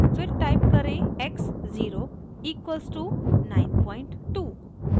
फिर टाइप करें x zero equals two 92